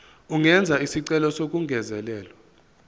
angenza isicelo sokungezelelwa